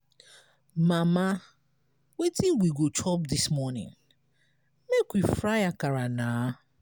mama wetin we go chop dis morning? make we fry akara na